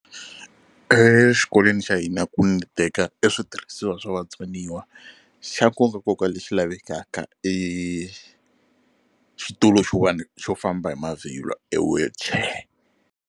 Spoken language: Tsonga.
Exikolweni xa hina need-eka e switirhisiwa swa vatsoniwa xa nkokankoka lexi lavekaka i xitulu xin'wana xo famba hi mavhilwa e wheelchair.